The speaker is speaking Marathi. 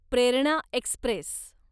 प्रेरणा एक्स्प्रेस